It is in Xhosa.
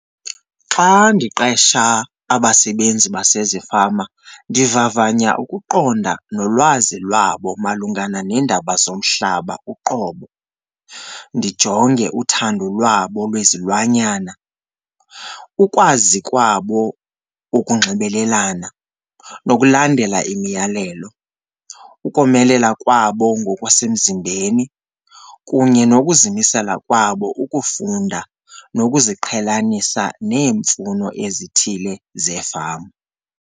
Xa ndiqesha abasebenzi basezifama ndivavanya ukuqonda nolwazi lwabo malungana neendaba zomhlaba uqobo. Ndijonge uthando lwabo lwezilwanyana, ukwazi kwabo ukunxibelelana nokulandela imiyalelo, ukomelela kwabo ngokwasemzimbeni kunye nokuzimisela kwabo ukufunda nokuziqhelanisa neemfuno ezithile zeefama.